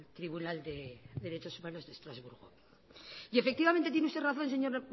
tribunal de derechos humanos de estrasburgo y efectivamente tiene usted razón señor